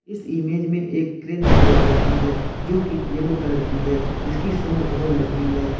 इस इमेज में एक क्रेन दिखाई दे रही है जो की येलो कलर की है इसकी सूंड बहोत लंबी है।